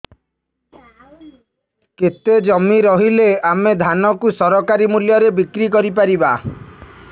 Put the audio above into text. କେତେ ଜମି ରହିଲେ ଆମେ ଧାନ କୁ ସରକାରୀ ମୂଲ୍ଯରେ ବିକ୍ରି କରିପାରିବା